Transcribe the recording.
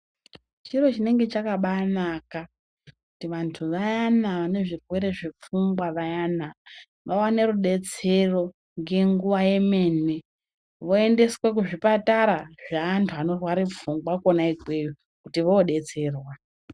Chiro chinenge chakabaanaka kuti vanthu vayana vanezvirwere zvefungwa vayana vaone rudetsero ngenguwa yemene voendeswe kuzvipatara zvevanhu vanorware pfungwa kona ikweyo kuti voodetserwa.